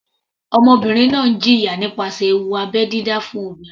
Ọmọbìnrin náà ń jẹ̀yà nípasẹ̀ ewu abẹ́ dídá fún obìnrin.